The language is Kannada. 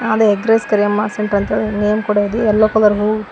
ಅದು ಎಗ್ ರೈಸ್ ಕರಿಯಮ್ಮ ಸೆಂಟರ್ ಅಂತ ನೇಮ್ ಕೂಡಾ ಇದೆ ಯಲ್ಲೋ ಕಲರ್ ಹೂ.